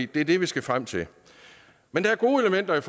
det er det vi skal frem til men der er gode elementer i